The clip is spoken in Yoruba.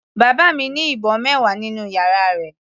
Bàbá mi ní ìbọn mẹwa nínú yàrá rẹ̀.